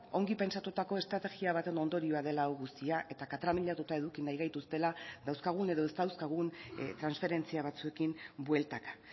ongi pentsatutako estrategia baten ondorioa dela hau guztia eta katramilatuta eduki nahi gaituztela dauzkagun edo ez dauzkagun transferentzia batzuekin bueltaka